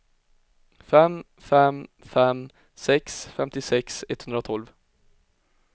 fem fem fem sex femtiosex etthundratolv